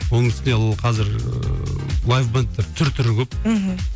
оның үстіне қазір ыыы лайв бэндтер түр түрі көп мхм